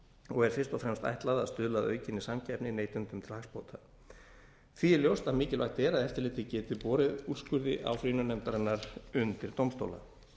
og er fyrst og fremst ætlað að stuðla að aukinni samkeppni neytendum til hagsbóta því er ljóst að mikilvægt er að eftirlitið geti borið úrskurði áfrýjunarnefndarinnar undir dómstóla